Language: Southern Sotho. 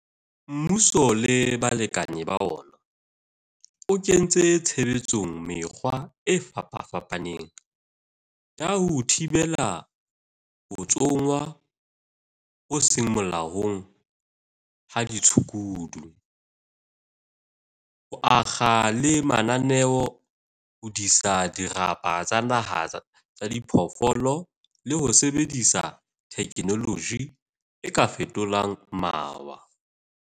Mmuso le balekane ba ona, o kentse tshebetsong mekgwa e fapafapaneng ya ho thibela ho tsongwa ho seng molaong ha ditshukudu, ho akga le mananeo a ho disa dirapa tsa naha tsa diphoofolo le ho sebedisa thekenoloji e ka fetolang mawa.